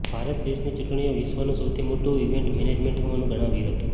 ભારત દેશની ચુંટણીઓ વિશ્વનું સૌથી મોટું ઈવેન્ટ મેનેજમેન્ટ હોવાનું ગણાવ્યું હતું